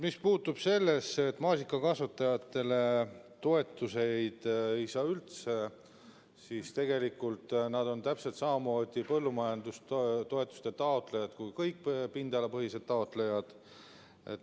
Mis puutub sellesse, et maasikakasvatajad toetusi üldse ei saa, siis tegelikult on nad täpselt samamoodi põllumajandustoetuste taotlejad kui kõik pindalapõhised taotlejad.